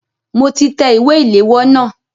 Mo ti tẹ ìwé ìléwọ́ náà.